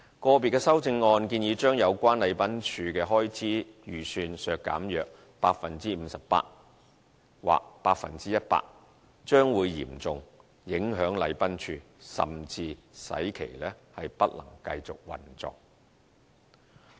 個別修正案建議將有關禮賓處的開支預算削減約 58% 或 100%， 將會嚴重影響禮賓處，甚至使其不能繼續運作。